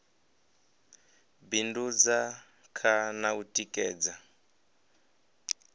bindudza kha na u tikedza